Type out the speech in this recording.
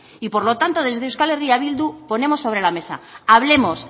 y por lo tanto desde euskal herria bildu ponemos sobre la mesa hablemos